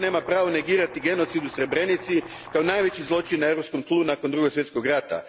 Nitko nema pravo negirati genocid u Srebrenici, kao najveći zločin na europskom tlu nakon Drugog svjetskog rata.